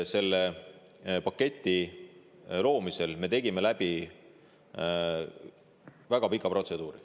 Selle paketi loomisel me tegime läbi väga pika protseduuri.